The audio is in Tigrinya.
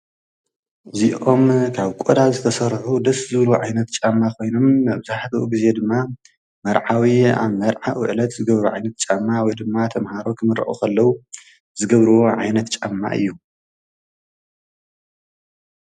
እዚኦም ካብ ቆዳ ዝተሰርሑ ደስ ዝብሉ ዓይነት ጫማ ኮይኖም መብዛሕትኡ ግዜ ድማ መርዓዊ ኣብ መርዕዑ ዕለት ዝገብሮ ዓይነት ጫማ ወይ ድማ ተምሃሮ ክምረቁ ከለዉ ዝገብርዎ ዓይነት ጫማ እዩ።